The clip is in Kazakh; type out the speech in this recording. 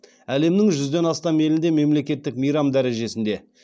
әлемнің жүзден астам елінде мемлекеттік мейрам дәрежесінде